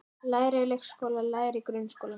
Læra í leikskóla Læra í grunnskóla